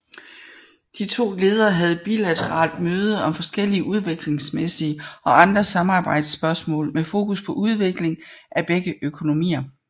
De to ledere havde bilateralt møde om forskellige udviklingsmæssige og andre samarbejdsspørgsmål med fokus på udvikling af begge økonomier